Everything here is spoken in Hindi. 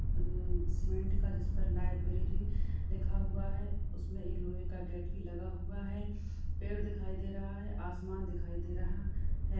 मम्म सीमेंट का जिस पर लाइब्रेरी लिखा हुआ है । उसमें एक लोहे का गेट भी लगा हुआ है । पेड़ दिखाए दे रहा है आसमान दिखाए दे रहा है ।